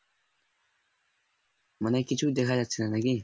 মানে কিছুই দেখা যাচ্ছে না নাকি